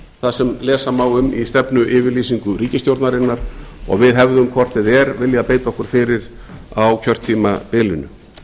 það sem lesa má um í stefnuyfirlýsingu ríkisstjórnarinnar og við hefðum hvort eð er viljað beita okkur fyrir á kjörtímabilinu